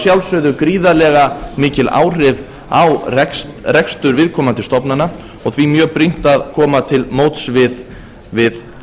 sjálfsögðu gríðarlega mikil áhrif á rekstur viðkomandi stofnana og því mjög brýnt að koma til móts við